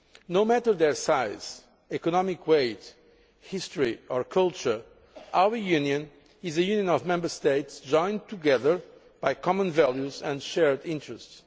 No matter what their size, economic weight, history or culture, our Union is a union of Member States joined together by common values and shared interests.